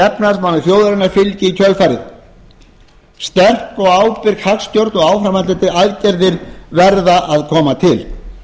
efnahagsmálum þjóðarinnar fylgi í kjölfarið sterk og ábyrg hagstjórn og áframhaldandi aðgerðir verða að koma til